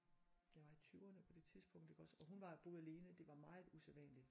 Jeg var i 20'erne på det tidspunkt iggås og hun var boede alene det var meget usædvanligt